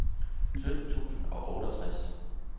sytten tusind og otteogtres